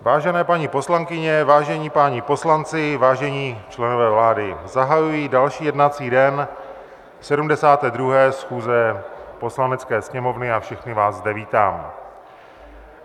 Vážené paní poslankyně, vážení páni poslanci, vážení členové vlády, zahajuji další jednací den 72. schůze Poslanecké sněmovny a všechny vás zde vítám.